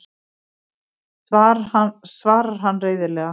svarar hann reiðilega.